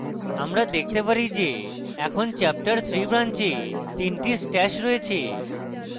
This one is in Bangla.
আমরা দেখতে পারি যে এখন chapterthree branch তিনটি stash রয়েছে